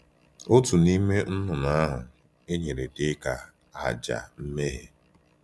Otu n’ime nnụnụ ahụ e nyere dị ka aja mmehie.